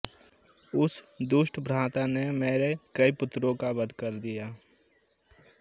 उस दुष्ट भ्राता ने मेरे कई पुत्रों का वध कर दिया